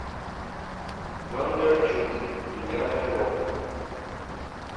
бондарчук девятая рота